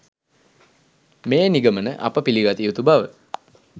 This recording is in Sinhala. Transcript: මේ නිගමන අප පිළිගත යුතු බව